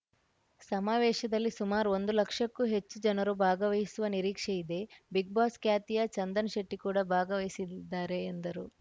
ಸಮಾವೇಶದಲ್ಲಿ ಸುಮಾರು ಒಂದು ಲಕ್ಷಕ್ಕೂ ಹೆಚ್ಚು ಜನರು ಭಾಗವಹಿಸುವ ನಿರೀಕ್ಷೆ ಇದೆ ಬಿಗ್‌ಬಾಸ್‌ ಖ್ಯಾತಿಯ ಚಂದನ್‌ ಶೆಟ್ಟಿಕೂಡ ಭಾಗವಹಿಸಲಿದ್ದಾರೆ ಎಂದರು